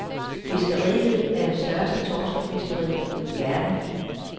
Fiskeriet er det største torskefiskeri i verden.